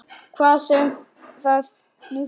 Hvað sem það nú þýðir!